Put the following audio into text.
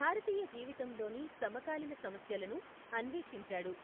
భారతీయ జీవితంలోని సమకాలీన సమస్యలను అన్వేషించాడు.